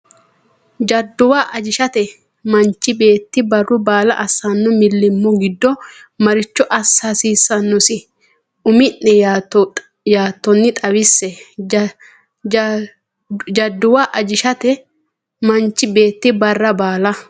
Jadduwa ajishate Manchu beetti barru baala assanno millimmo giddo maricho assa hasiissannosi Umi’ne yaattonni xawisse Jadduwa ajishate Manchu beetti barru baala.